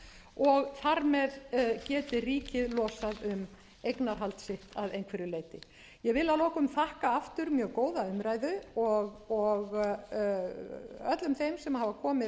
fjárfestingarkostur og þar með geti ríkið losað um eignarhald sitt að einhverju leyti ég vil að lokum þakka aftur mjög góða umræðu og öllum þeim sem hafa komið